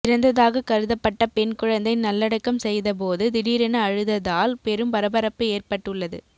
இறந்ததாக கருதப்பட்ட பெண் குழந்தை நல்லடக்கம் செய்த போது திடீரென அழுததால் பெரும் பரபரப்பு ஏற்பட்டு உள்ளது